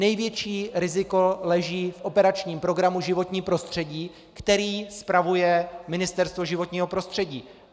Největší riziko leží v operačním programu Životní prostředí, který spravuje Ministerstvo životního prostředí.